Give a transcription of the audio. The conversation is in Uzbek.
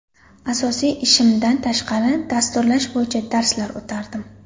Asosiy ishimdan tashqari dasturlash bo‘yicha darslar o‘tardim.